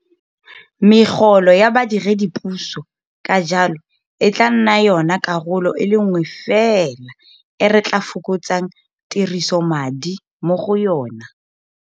Megolo ya badiredipuso ka jalo e tla nna yona karolo e le nngwe fela e re tla fokotsang tirisomadi mo go yona.